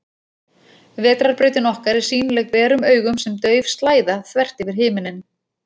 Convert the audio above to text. Vetrarbrautin okkar er sýnileg berum augum sem dauf slæða, þvert yfir himinninn.